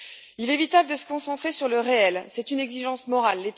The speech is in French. Il est vital de se concentrer sur le réel c'est une exigence morale.